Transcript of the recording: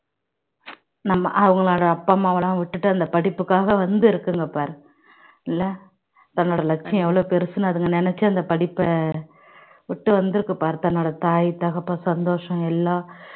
நம்ம அவங்களோட அப்பா அம்மாவெல்லாம் விட்டுட்டு அந்த படிப்புக்காக வந்து இருக்குங்க பாரு இல்ல தன்னோட லட்சியம் எவ்வளவு பெருசு அதுங்க நினைச்சு அந்த படிப்பை விட்டு வந்திருக்கு பார்த்தா தன்னோட தாய் தகப்பன் சந்தோஷம் எல்லாம்